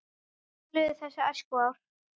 Svo liðu þessi æskuár.